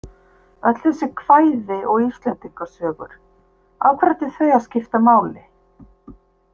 Öll þessi kvæði og Íslendingasögur, af hverju ættu þau að skipta máli?